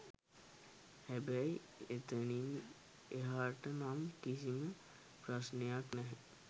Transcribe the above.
හැබැයි එතනින් එහාට නම් කිසිම ප්‍රශ්නයක් නැහැ.